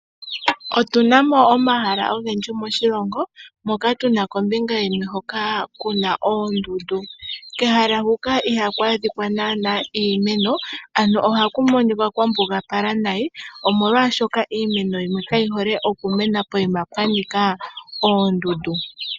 Otu na mo omahala ogendji moshilongo moka tuna kombinga yimwe hoka kuna oondundu. Kehala huka ihaku adhikwa naana iimeno, ano ohaku monikwa kwa mbugapala nayi, omolwashoka iimeno kayi hole okumena poyima pwa nika oondundu.